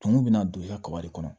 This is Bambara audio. Tumu bɛna don i ka kaba de kɔnɔ